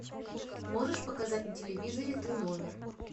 можешь показать на телевизоре ты номер